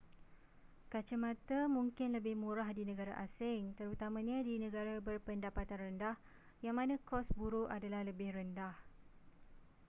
kaca mata mungkin lebih murah di negara asing terutamanya di negara berpendapatan rendah yang mana kos buruh adalah lebih rendah